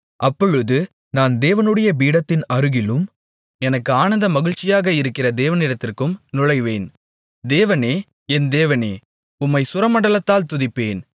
அப்பொழுது நான் தேவனுடைய பீடத்தின் அருகிலும் எனக்கு ஆனந்த மகிழ்ச்சியாக இருக்கிற தேவனிடத்திற்கும் நுழைவேன் தேவனே என் தேவனே உம்மைச் சுரமண்டலத்தால் துதிப்பேன்